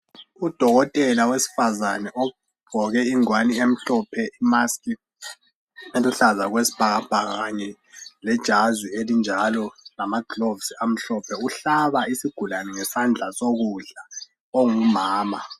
Udokotela owesifazana ugqoke igwani emhlope, maskhi eluhlaza ekwesibhakabhaka, lejasi elinjalo lamagilovosi amhlophe, uhlaba isigulani ngesandla sokudla ongumama.